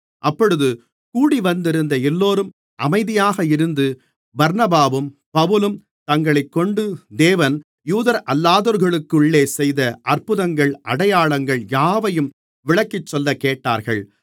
அப்பொழுது கூடிவந்திருந்த எல்லோரும் அமைதியாக இருந்து பர்னபாவும் பவுலும் தங்களைக்கொண்டு தேவன் யூதரல்லாதோர்களுக்குள்ளே செய்த அற்புதங்கள் அடையாளங்கள் யாவையும் விளக்கிச் சொல்லக் கேட்டார்கள்